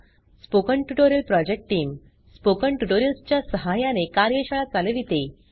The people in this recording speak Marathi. spoken tutorial project team spoken tutorials च्या सहाय्याने कार्यशाळा चालविते